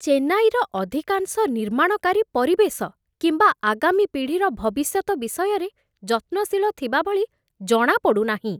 ଚେନ୍ନାଇର ଅଧିକାଂଶ ନିର୍ମାଣକାରୀ ପରିବେଶ କିମ୍ବା ଆଗାମୀ ପିଢ଼ିର ଭବିଷ୍ୟତ ବିଷୟରେ ଯତ୍ନଶୀଳ ଥିବାଭଳି ଜଣାପଡ଼ୁନାହିଁ।